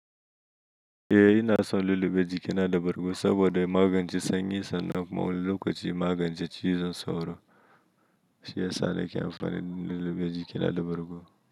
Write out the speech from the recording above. Eh ina son lullube jikina da bargo saboda magance sanyi sannan kuma wani lokaci magance cizon sauro, shi ya sa na amfani lullube jikina da bargo.